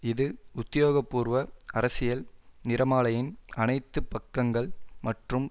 இது உத்தியோகபூர்வ அரசியல் நிறமாலையின் அனைத்து பக்கங்கள் மற்றும்